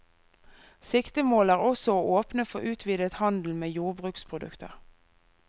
Siktemålet er også å åpne for utvidet handel med jordbruksprodukter.